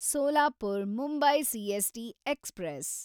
Solapur Mumbai CST express